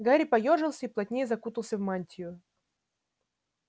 гарри поёжился и плотнее закутался в мантию